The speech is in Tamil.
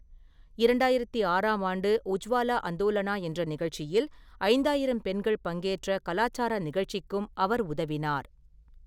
இரண்டாயிரத்து ஆறாம் ஆண்டு 'உஜ்வாலா அந்தோலனா' என்ற நிகழ்ச்சியில் ஐந்தாயிரம் பெண்கள் பங்கேற்ற கலாச்சார நிகழ்ச்சிக்கும் அவர் உதவினார்.